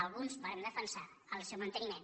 alguns vàrem defensar ne el manteniment